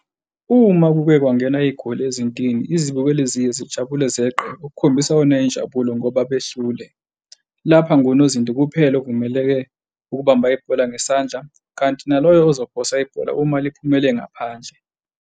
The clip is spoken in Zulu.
Uma kuke kwangena igoli ezintini izibukeli ziye zijabule zenqe ukkhombisa yona injabulo ngoba behlule. Lapha ngunozinti kuphela ovumeleke ukubamba ibhola ngesandla, kanti naloyo ozophonsa ibhola uma liphumele ngaphandle.